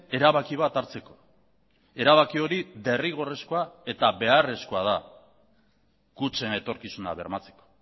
erabaki bat hartzeko erabaki hori derrigorrezkoa eta beharrezkoa da kutxen etorkizuna bermatzeko